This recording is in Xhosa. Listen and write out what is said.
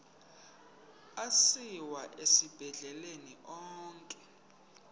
asiwa esibhedlele onke